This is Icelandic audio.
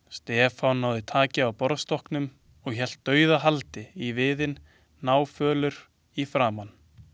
Stefán náði taki á borðstokknum og hélt dauðahaldi í viðinn, náfölur í framan.